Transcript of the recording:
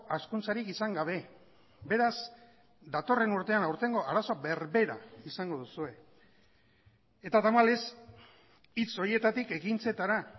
hazkuntzarik izan gabe beraz datorren urtean aurtengo arazo berbera izango duzue eta tamalez hitz horietatik ekintzetara